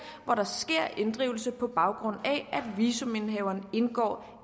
hvor der sker inddrivelse på baggrund af at visumindehaveren indgiver